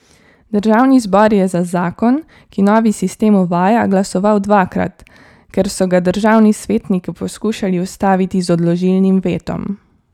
Državni zbor je za zakon, ki novi sistem uvaja, glasoval dvakrat, ker so ga državni svetniki poskušali ustaviti z odložilnim vetom.